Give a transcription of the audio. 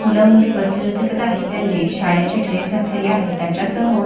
मुल मुली बसलेले दिसत आहेत त्यांनी शाळेचे ड्रेस घातलेले आहेत त्याच्या समोर--